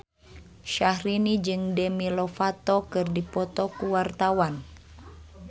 Syahrini jeung Demi Lovato keur dipoto ku wartawan